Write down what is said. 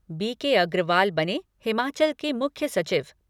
B K Agrawal बने हिमाचल के मुख्य सचिव